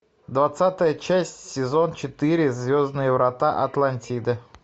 двадцатая часть сезон четыре звездные врата атлантиды